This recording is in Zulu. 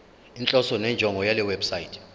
inhloso nenjongo yalewebsite